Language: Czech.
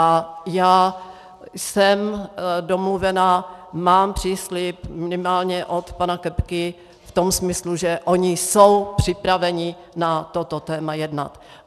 A já jsem domluvena, mám příslib minimálně od pana Kepky v tom smyslu, že oni jsou připraveni na toto téma jednat.